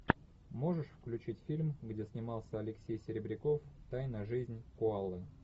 можешь включить фильм где снимался алексей серебряков тайная жизнь коалы